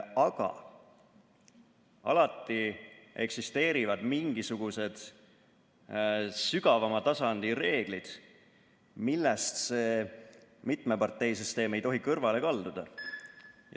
Aga alati eksisteerivad mingisugused sügavama tasandi reeglid, millest see mitmeparteisüsteem ei tohi kõrvale kalduda.